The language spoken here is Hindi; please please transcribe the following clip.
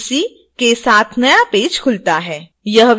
यह विभिन्न टैब भी दिखाता है